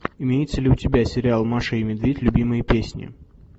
имеется ли у тебя сериал маша и медведь любимые песни